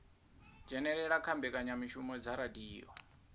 dzhenelela kha mbekanyamushumo dza radio